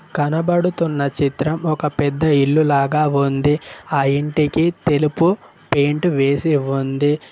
కనబడుతున్న చిత్రం ఒక పెద్ద ఇల్లు లాగా ఉంది ఆ ఇంటికి తెలుపు పెయింట్ వేసి ఉంది.